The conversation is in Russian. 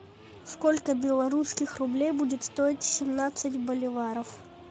сколько белорусских рублей будет стоить семнадцать боливаров